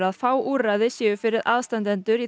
að fá úrræði séu fyrir aðstandendur